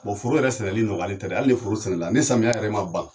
Bon foro yɛrɛ sɛnɛli nɔgɔya tɛ dɛ hali ni foro sɛnɛla ni samiyɛ yɛrɛ ma ban